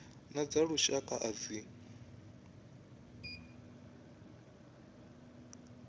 na dza lushaka a dzi